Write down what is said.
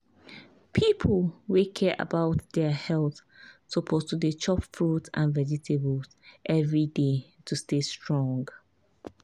people wey care about their about their health suppose to dey chop fruits and vegetables every day to stay strong.